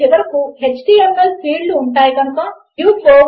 వీటిని చాలా త్వరలో నా ప్రాజెక్ట్ లలో ఒకదానిలో తప్పనిసరిగా వాడబోతున్నాను